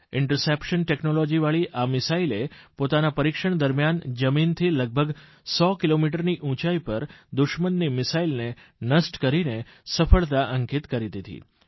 interception ટેકનોલોજીવાળી આ મિસાઇલે પોતાના પરીક્ષણ દરમિયાન જમીનથી લગભગ 100 કિલોમીટરની ઉંચાઇ પર દુશ્મનની મિસાઇલને નષ્ટ કરીને સફળતા અંકિત કરી દીધી